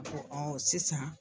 A ko ɔ sisan